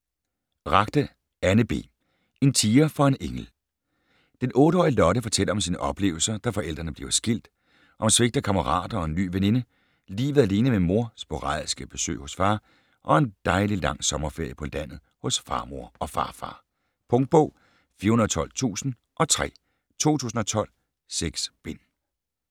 Ragde, Anne B.: En tiger for en engel Den 8-årige Lotte fortæller om sine oplevelser, da forældrene bliver skilt, om svigt af kammerater og en ny veninde, livet alene med mor, sporadiske besøg hos far og en dejlig lang sommerferie på landet hos farmor og farfar. Punktbog 412003 2012. 6 bind.